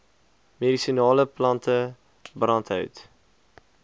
medisinale plante brandhout